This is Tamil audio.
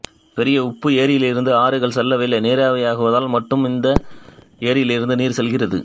பெரிய உப்பு ஏரியிலிருந்து ஆறுகள் செல்லவில்லை நீராவியாகுதலால் மட்டும் இந்த ஏரியிலிருந்து நீர் செல்கிறது